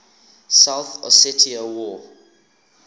south ossetia war